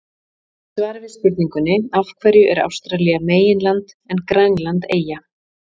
Í svari við spurningunni Af hverju er Ástralía meginland en Grænland eyja?